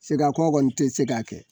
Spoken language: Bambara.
Seki a kɔ kɔni ti se ka kɛ